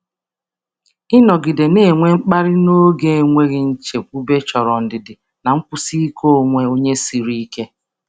Ịnọgide na-enwe mkpali n’oge enweghị nchekwube chọrọ ndidi na nkwụsi ike onwe onye siri ike.